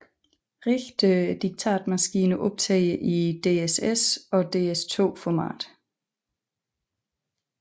Rigtige diktatmaskiner optager i DSS og DS2 format